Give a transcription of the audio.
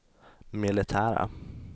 militära